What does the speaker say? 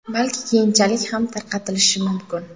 Balki keyinchalik ham tarqatilishi mumkin.